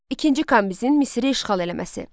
İkinci Kambizin Misri işğal eləməsi.